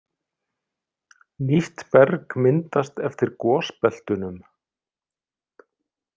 Nýtt berg myndast eftir gosbeltunum.